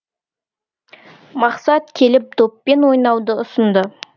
мақсат келіп доппен ойнауды ұсынды